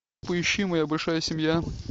поищи моя большая семья